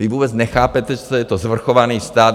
Vy vůbec nechápete, co je to svrchovaný stát.